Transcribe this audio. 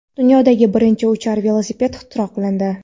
Dunyodagi birinchi uchar velosiped ixtiro qilindi.